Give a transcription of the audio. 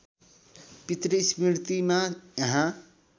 पितृ स्मृतिमा यहाँ